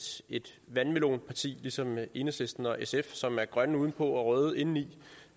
vandmelonparti ligesom enhedslisten og sf som er grønne udenpå og røde indeni